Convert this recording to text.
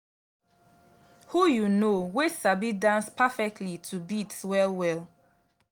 who you know wey sabi dance perfectly to beats well well